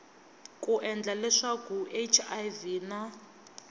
ku endla leswaku hiv na